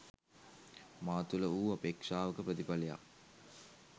මා තුළ වූ අපේක්ෂාවක ප්‍රතිඵලයක්